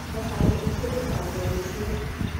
thabari itu ikajia rucio